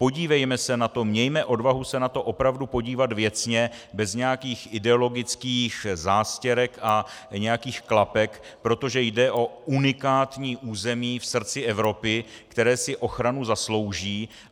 Podívejme se na to, mějme odvahu se na to opravdu podívat věcně, bez nějakých ideologických zástěrek a nějakých klapek, protože jde o unikátní území v srdci Evropy, které si ochranu zaslouží.